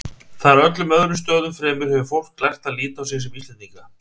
Þar, öllum öðrum stöðum fremur, hefur fólk lært að líta á sig sem Íslendinga.